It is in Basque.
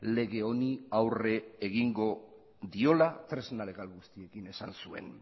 lege honi aurre egingo diola tresna legal guztiekin esan zuen